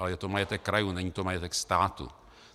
Ale je to majetek krajů, není to majetek státu.